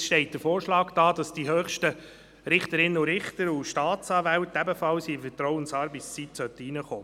Jetzt steht der Vorschlag im Raum, dass für die höchsten Richterinnen und Richter und Staatsanwälte ebenfalls die Vertrauensarbeitszeit gelten solle.